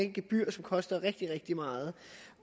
gebyr som koster rigtig rigtig meget